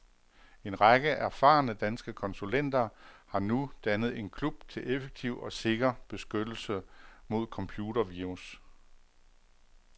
En række erfarne, danske konsulenter har nu dannet en klub til effektiv og sikker beskyttelse mod computervirus.